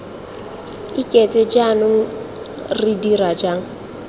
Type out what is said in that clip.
iketse jaanong re dira jang